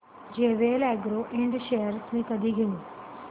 JVL agro ind shares मी कधी घेऊ